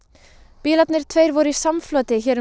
bílarnir tveir voru í samfloti hér um